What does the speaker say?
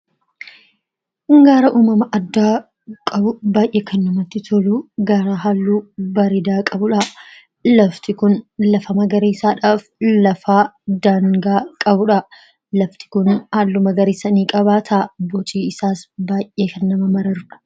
Kun gaara uumama addaa qabu baay'ee kan namatti tolu. Gaara haalluu bareedaa qabudha. Lafti kun lafa magariisaadhaaf lafa daangaa qabudha. Lafti kun halluu magariisa niqabaata. Boci isaas baay'ee kan nama mararudha.